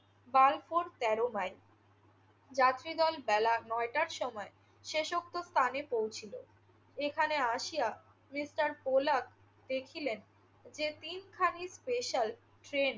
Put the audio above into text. বালপুর তেরো মাইল। যাত্রীদল বেলা নয়টার সময় শেষোক্ত স্থানে পৌঁছিল। এখানে আসিয়া মিস্টার কোলাক দেখিলেন যে, তিনখানি special ট্রেন